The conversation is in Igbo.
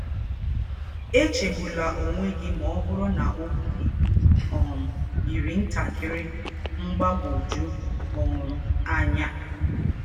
Echegbula onwe gị ma ọ bụrụ na okwu gị um yiri ntakịrị mgbagwoju um anya.